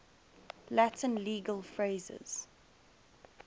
latin legal phrases